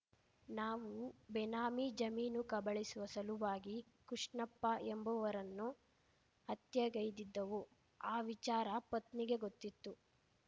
ನಾವು ಬೇನಾಮಿ ಜಮೀನು ಕಬಳಿಸುವ ಸಲುವಾಗಿ ಕೃಷ್ಣಪ್ಪ ಎಂಬುವರನ್ನು ಹತ್ಯೆಗೈದಿದ್ದವು ಆ ವಿಚಾರ ಪತ್ನಿಗೆ ಗೊತ್ತಿತ್ತು